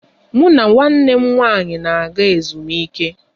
Mụ na nwanne m nwaanyị n'aga ezumike.